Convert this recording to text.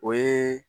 O ye